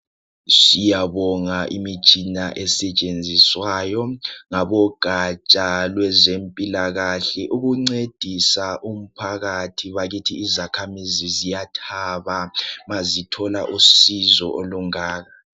Siyabonga imitshina esetshenziswayo ngabo gatsha lwezempila kahle ukuncedisa umphakathi bakithi izakhamizi ziyathaba mazithola usizo olungaka.